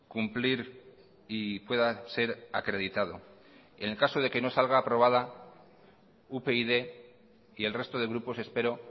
cumplir y pueda ser acreditado en el caso de que no salga aprobada upyd y el resto de grupos espero